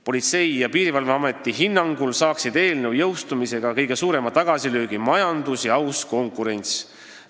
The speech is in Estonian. Politsei- ja Piirivalveameti hinnangul saaksid eelnõu jõustumisega kõige suurema tagasilöögi majandus ja aus konkurents.